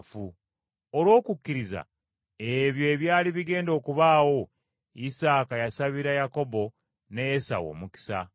Olw’okukkiriza ebyo ebyali bigenda okubaawo, Isaaka yasabira Yakobo ne Esawu omukisa.